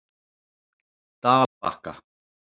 Dalbakka